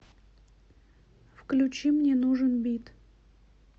включи мне нужен бит